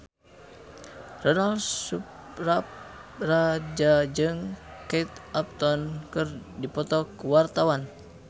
Ronal Surapradja jeung Kate Upton keur dipoto ku wartawan